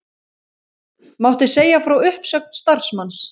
Mátti segja frá uppsögn starfsmanns